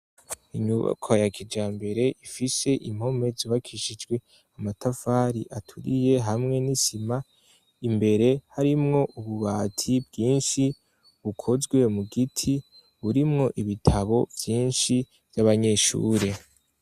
Inyubakwa ya kijambere ifise impome zubakishijwe amatafari aturiye hamwe n'isima, imbere harimwo ububati bwinshi bukozwe mu giti burimwo ibitabo vyinshi vy'abanyeshure.